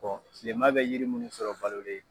tileman be yiri munnu sɔrɔ balolen